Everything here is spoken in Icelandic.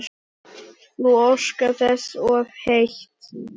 Þú óskar þess of heitt